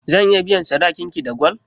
Zan iya biyan sadakin ki da gwal?